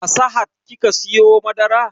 A sahad kika siyo madarar?